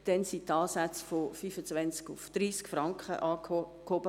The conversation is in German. Damals wurden die Ansätze von 25 auf 30 Franken angehoben.